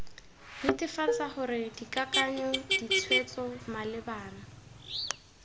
netefatsa gore dikakanyo ditshwetso malebana